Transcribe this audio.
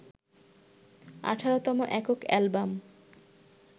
১৮তম একক অ্যালবাম